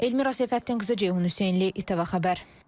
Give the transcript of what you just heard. Elmira Seyfəddinqızı, Ceyhun Hüseynli, ITV Xəbər.